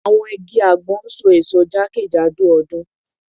Awọn igi agbon n so eso jakejado ọdun